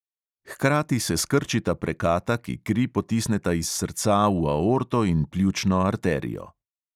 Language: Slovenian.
Hkrati se skrčita prekata, ki kri potisneta iz srca v aorto in pljučno arterijo.